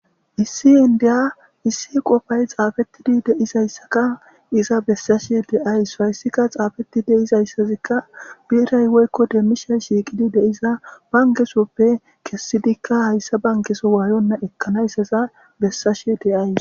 Issi inddiya issi qofay xaafettidi de'iyayssaka iza bessashe de'ayssu. Hayssikka xaafiti de'izayssazikka biray woykko demishay shiiqidi de'iza bankke sohoppe kessidikka hayssa bankkesoppe ekkanayssaza bessashe de'aysu.